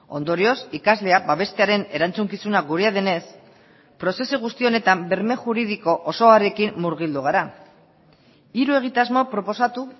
ondorioz ikaslea babestearen erantzukizuna gurea denez prozesu guzti honetan berme juridiko osoarekin murgildu gara hiru egitasmo proposatu